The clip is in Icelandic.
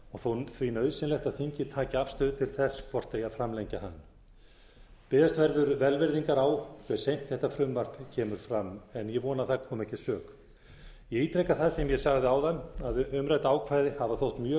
og því nauðsynlegt að þingið taki afstöðu til þess hvort eigi að framlengja hann biðjast verður velvirðingar á hve seint þetta frumvarp kemur fram en ég vona að það komi ekki að sök ég ítreka það sem ég sagði áðan að umrædd ákvæði hafa þótt mjög